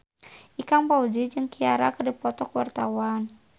Ikang Fawzi jeung Ciara keur dipoto ku wartawan